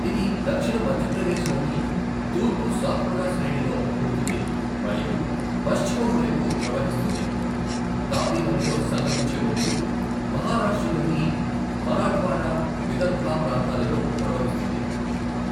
ఇది దక్షిణ మధ్యప్రదేశ్లోని తూర్పు సాత్పురా శ్రేణిలో పుడుతుంది మరియు పశ్చిమం వైపు ప్రవహిస్తుంది, తాపీ నదిలో సంగమించే ముందు మహారాష్ట్రలోని మరాఠ్వాడా, విదర్భ ప్రాంతాలలో ప్రవహిస్తుంది.